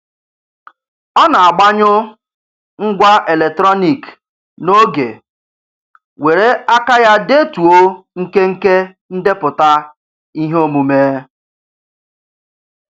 Ọ na-agbanyụ ngwá eletrọniik n'oge were aka ya detuo nkenke ndepụta iheomume.